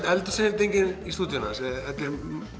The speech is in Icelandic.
eldhúsinnréttingunni í stúdíóinu hans þetta er